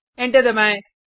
enter दबाएँ